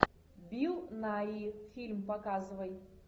билл найи фильм показывай